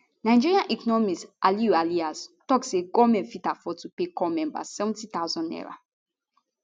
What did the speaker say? nigerian economist aliyu ilias tok say goment go fit afford to pay corps members 70000 naira